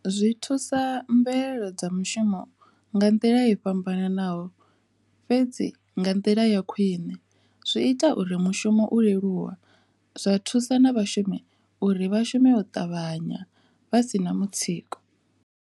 Zwi thusa mbuelo dza mushumo nga nḓila i fhambananaho fhedzi nga nḓila ya khwine zwi ita uri mushumo u leluwe zwa thusa na vhashumi uri vhashumi u ṱavhanya vha si na mutsiko.